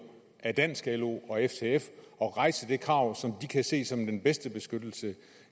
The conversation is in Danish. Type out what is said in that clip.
af dansk lo og ftf at rejse det krav som de kan se som den bedste beskyttelse